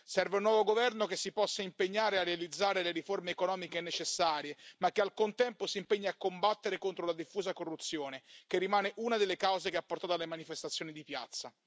Serve un nuovo governo che si possa impegnare a realizzare le riforme economiche necessarie, ma che al contempo si impegni a combattere contro la diffusa corruzione, che rimane una delle cause che ha portato alle manifestazioni di piazza.